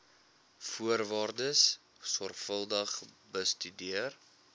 voorwaardes sorgvuldig bestudeer